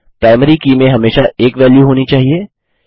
आगे प्राइमरी की में हमेशा एक वेल्यू होनी चाहिए